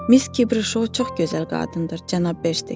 Miss Kibri Şou çox gözəl qadındır, cənab Bersteker.